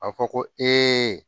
A fɔ ko